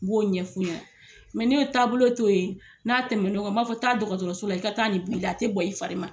N b'o ɲɛ fu ɲɛna n mɛ n'o taabolo to ye n'a tɛn'o kan n b'a fo taa dɔgɔtɔrɔso la i ka taa ni bɔ i la a te bɔ i fari ma